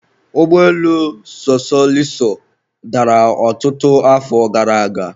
ụgbọelu sosoliso dara ọtụtụ afọ gara aga